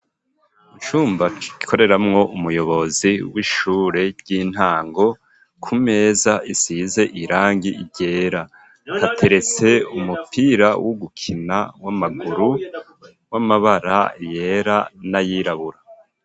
Icumba gikoreramwo umuyobozi w'ishure ry'intango kumeza isize irangi ryera hateretse umupira wo gukina w'amaguru w'amabara yera n'ayirabura.